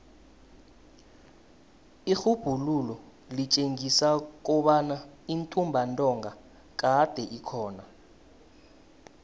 irhubhululo litjengisa kobana intumbantonga kade ikhona